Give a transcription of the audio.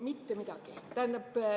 Mitte midagi.